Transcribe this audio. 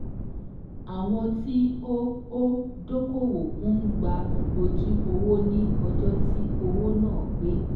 Àwọn tí ó ó dókòwò ń gba ojú owó ní ọjọ́ tí òwò náà pé.